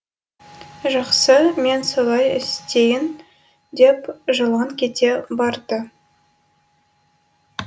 жақсы мен солай істейін деп жылан кете барды